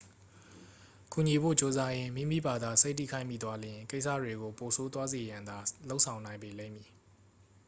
ကူညီဖို့ကြိုးစားရင်း မိမိဘာသာစိတ်ထိခိုက်မိသွားလျှင် ကိစ္စတွေကို ပိုဆိုးသွားစေရန်သာ လုပ်ဆောင်နိုင်ပေလိမ့်မည်